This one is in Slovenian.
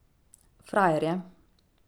Frajer je.